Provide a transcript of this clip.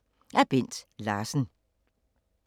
Af Bent Larsen